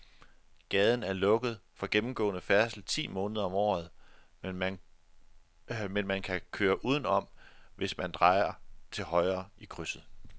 Gaden er lukket for gennemgående færdsel ti måneder om året, men man kan køre udenom, hvis man drejer til højre i krydset.